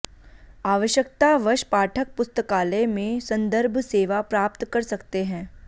आवश्यकतावश पाठक पुस्तकालय में सन्दर्भ सेवा प्राप्त कर सकते है